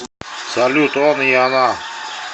салют он и она